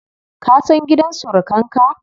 Ka san gidan surukan ka?